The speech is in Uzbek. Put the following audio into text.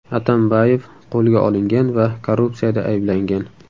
Atambayev qo‘lga olingan va korrupsiyada ayblangan.